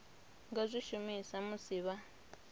nga zwi shumisa musi vha